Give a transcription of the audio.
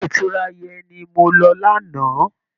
Ilé ìtura yẹn ni mo lọ lánàá